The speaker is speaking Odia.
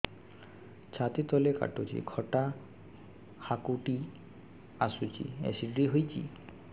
ଛାତି ତଳେ କାଟୁଚି ଖଟା ହାକୁଟି ଆସୁଚି ଏସିଡିଟି ହେଇଚି